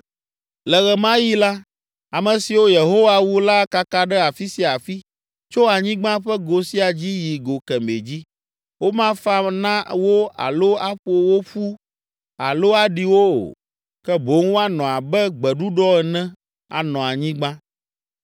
Le ɣe ma ɣi la, ame siwo Yehowa wu la akaka ɖe afi sia afi, tso anyigba ƒe go sia dzi yi go kemɛ dzi. Womafa na wo alo aƒo wo ƒu alo aɖi wo o, ke boŋ woanɔ abe gbeɖuɖɔ ene anɔ anyigba.